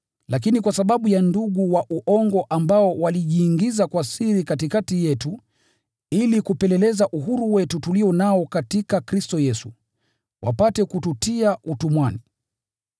Lakini kwa sababu ya ndugu wa uongo ambao walijiingiza kwa siri katikati yetu ili kupeleleza uhuru wetu tulio nao katika Kristo Yesu, wapate kututia utumwani,